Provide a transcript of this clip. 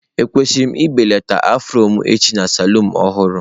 Ekwesịrị m ibelata afro m echi na saloon ọhụrụ?